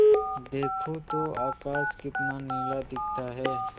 देखो तो आकाश कितना नीला दिखता है